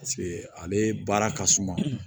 ale baara ka suma